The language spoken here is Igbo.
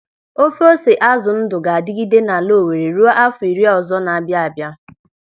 Ofe ose azụ ndụ ga-adịgide n'ala Owere ruo áfọ̀ iri ọzọ na-abịa abịa.